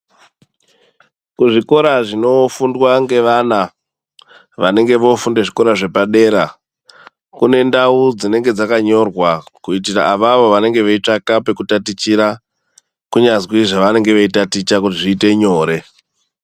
Kuzvikora zvinofundwa ngevana, vanenge voofunde zvepadera, kune ndau dzinenge dzakanyorwa, kuitira avavo vanenge veitsvaka pekutatichira, kunyazwi zvevanenge veitaticha vozviite nyore.